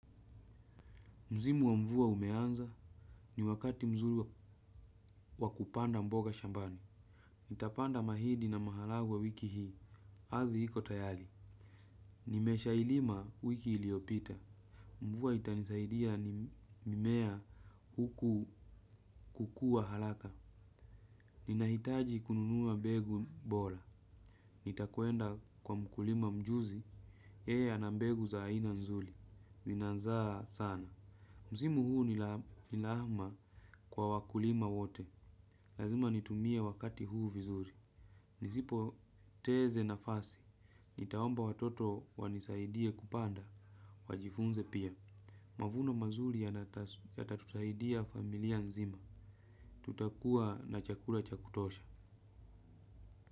Msimu wa mvua umeanza ni wakati mzuri wa kupanda mboga shambani. Nitapanda mahidi na maharagwe wiki hii, ardhi iko tayari. Nimesha ilima wiki iliopita. Mvua itanisaidia ni mimea huku kukua haraka. Ninahitaji kununuwa mbegu bora. Nitakwenda kwa mkulima mjuzi, yeye ana mbegu za aina nzuri. Ina zaa sana msimu huu ni wa kwa wakulima wote. Lazima nitumie wakati huu vizuri. Nisipoteze nafasi. Nitaomba watoto wanisaidie kupanda. Wajifunze pia. Mavuno mazuri yata tutaisaidia familia nzima. Tuta kuwa na chakula cha kutosha.